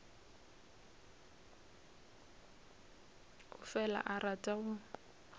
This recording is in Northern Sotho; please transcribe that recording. o fela a rata go